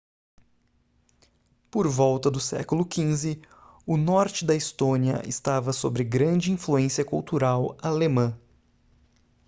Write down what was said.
por volta do século xv o norte da estônia estava sobre grande influência cultural alemã